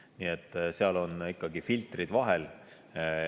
Nii et seal on ikkagi filtrid vahel.